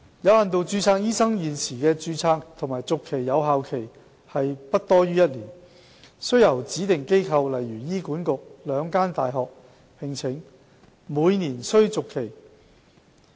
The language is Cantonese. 有限度註冊醫生現時的註冊及續期有效期為不多於1年，須由指定機構、兩間大學)聘請及每年續期。